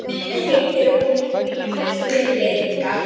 hreytir hún í Júlíu full fyrirlitningar.